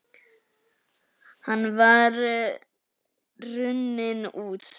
Hann var runninn út